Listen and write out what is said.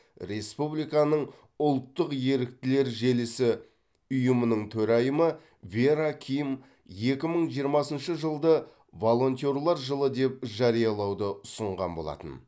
республиканың ұлттық еріктілер желісі ұйымының төрайымы вера ким екі мың жиырмасыншы жылды волентерлер жылы деп жариялауды ұсынған болатын